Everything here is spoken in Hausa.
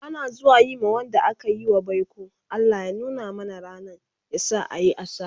Ana zuwa Yi ma Wanda akayi wa baiko"Allah ya nuna mana rannan, yasa a Yi a sa'a"